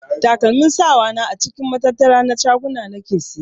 Takalmin sawa na a cikin matattara na shaguna nake siya.